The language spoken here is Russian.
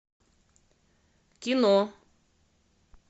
кино